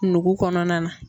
Nugu kɔnɔna na.